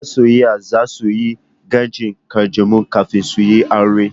Masoya za su yi gwajin ƙanjamau kafin su yi aure.